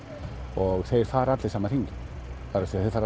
og þeir fara allir sama hringinn þeir fara